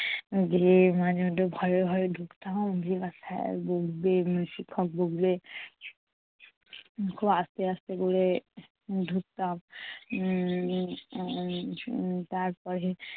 যেয়ে মাঝে মধ্যে ভয়ে ভয়ে ঢুকতাম ওরে sir বকবে, শিক্ষক বকবে। খুব আস্তে আস্তে করে ঢুকতাম। উম উম তারপরে